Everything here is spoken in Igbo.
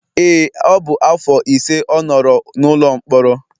Ee, ọ bụ afọ ise ọ nọrọ n'ụlọ mkpọrọ